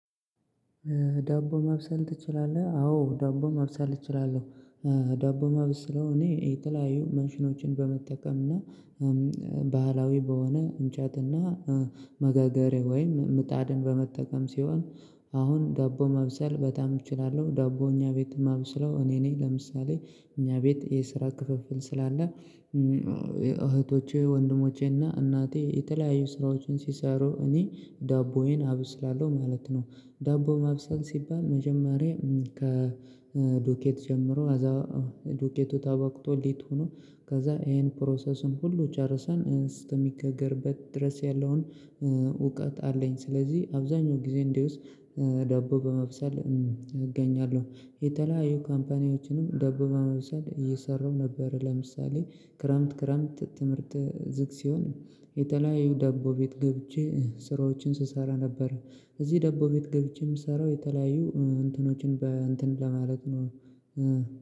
ዳቦ ማብሰል ትችላለህ? አዎ ዳቦ ማብሰል እችላለሁ ዳቦ ማበስለው እኔ የተለያዩ ማሽኖችን በመጠቀምና ባህላዊ በሆነ እንጨትና መጋገሪያ ወይም ምጣድን በመጠቀም ሲሆን አሁን ዳቦ ማብሰል በጣም እችላለሁ ዳቦ እኛ ቤት ማብስለው እኔ ነኝ ለምሳሌ እኛ ቤት የስራ ክፍፍል ስላለ እህቶቼ ወንድሞቼና እናቴ የተለያዩ ስራዎችን ሲሰሩ እኔ ዳቦዬን አብስላለሁ ማለት ነው ዳቦ ማብሰል ሲባል መጀመሪያ ከዱቄት ጀምሮ አዛ ዱቄቱ ተቦክቶ ሊት ሆኖ ከዛ ይሄን ፕሮሰሱን ሁሉ ጨርሰን እስከሚጋገርበት ድረስ ያለውን እውቀት አለኝ ስለዚህ አብዛኛው ጊዜ እንዲውስ ዳቦ በማብሰል እገኛለሁ የተለያዩ ካምፓኒዎችንም ደቡብ አመሰል እየሰራው ነበር ለምሳሌ ክረምት ክረምት ትምህርት ዝግ ሲሆን የተለያዩ ዳቦ ቤት ገብቼ ስራዎችን ስሰራ ነበር እዚህ ደቦ ቤት ገብቼ የምሰራው የተለያዩ እንትኖችን በእንትን ለማለት ነው